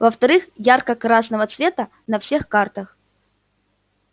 во-вторых ярко-красного цвета на всех картах